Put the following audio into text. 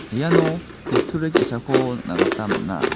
iano kutturi ge·sako nikna gita man·a.